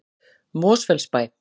Mosfellsbæ